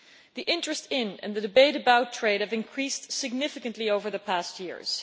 The interest in, and the debate about, trade have increased significantly over the past years.